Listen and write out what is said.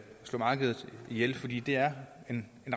slå markedet ihjel fordi det er en